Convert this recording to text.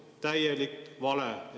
Täielik vale!